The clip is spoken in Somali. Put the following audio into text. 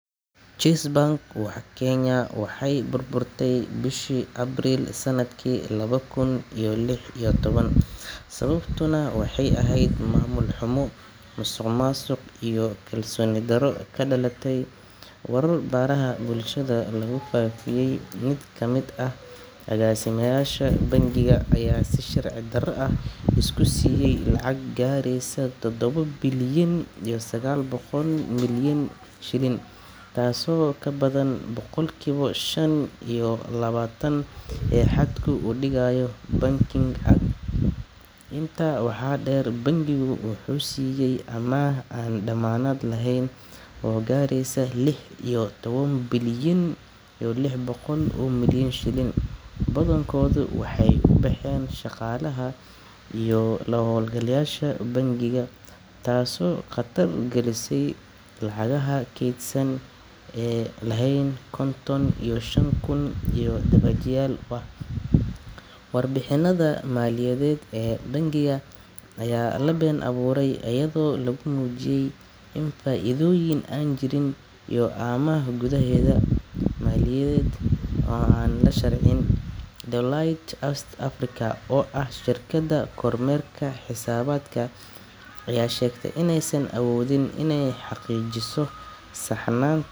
Chase Bank Kenya waxay burburtay bishii Abriil sanadkii laba kun iyo lix iyo toban, sababtuna waxay ahayd maamul xumo, musuqmaasuq, iyo kalsooni darro ka dhalatay warar baraha bulshada lagu faafiyay. Mid ka mid ah agaasimayaasha bangiga ayaa si sharci darro ah isku siiyay lacag gaaraysa toddobo bilyan iyo sagaal boqol milyan shilin, taasoo ka badan boqolkiiba shan iyo labaatan ee xadka uu dhigayo Banking Act. Intaa waxaa dheer, bangigu wuxuu siiyay amaah aan dammaanad lahayn oo gaaraysa lix iyo toban bilyan iyo lix boqol milyan shilin, badankoodna waxay u baxeen shaqaalaha iyo la-hawlgalayaasha bangiga, taasoo khatar gelisay lacagaha kaydsan ee ay lahaayeen konton iyo shan kun oo deebaajiyaal ah. Warbixinada maaliyadeed ee bangiga ayaa la been abuuray, iyadoo lagu muujiyay faa'iidooyin aan jirin iyo amaah gudaha ah oo aan la shaacin. Deloitte East Africa, oo ahaa shirkadda kormeerka xisaabaadka, ayaa sheegtay inaysan awoodin inay xaqiijiso saxnaan.